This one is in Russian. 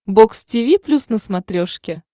бокс тиви плюс на смотрешке